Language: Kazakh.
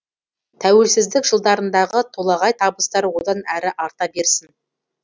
тәуелсіздік жылдарындағы толағай табыстар одан әрі арта берсін